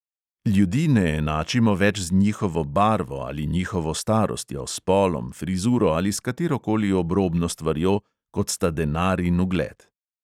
Ljudi ne enačimo več z njihovo barvo ali njihovo starostjo, spolom, frizuro ali s katerokoli obrobno stvarjo, kot sta denar in ugled.